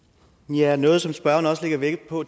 ja og noget som spørgeren også lægger vægt på